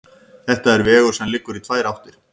Þetta er vegur sem liggur í tvær áttir.